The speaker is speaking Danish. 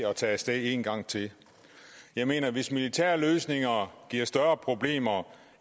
at tage af sted en gang til jeg mener hvis militærløsninger giver større problemer